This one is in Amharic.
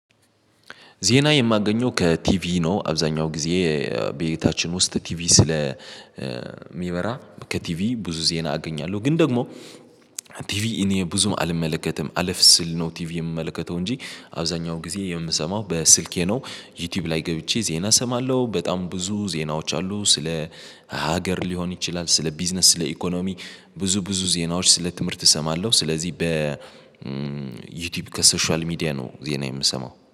ዜና የማገኘው ከቲቪ ነው። አብዛኛው ጊዜ ቤታችን ውስጥ ቲቪ ስለ ሚበራ ከቲቪ ብዙ ዜና አገኛለሁ። ግን ደግሞ ቲቪ እኔ ብዙም አልመለከትም አለፍ ስል ነው። ቲቪ የምመለከተው እንጂ አብዛኛው ጊዜ የምሰማው በስልኬ ነው ዩቲዩብ ላይ ገብቼ ዜና እሰማለሁ በጣም ብዙ ዜናዎች አሉ። ስለ ሀገር ሊሆን ይችላል ስለ ቢዝነስ ስለ ኢኮኖሚ ብዙ ብዙ ዜናዎች ስለ ትምህርት እሰማለሁ። ስለዚህ በ ዩቲዩብ ከሶሻል ሚዲያ ነው ዜና የምሰማው